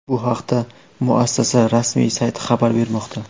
Bu haqda muassasa rasmiy sayti xabar bermoqda .